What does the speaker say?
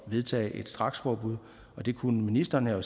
vedtage et straksforbud det kunne ministeren jo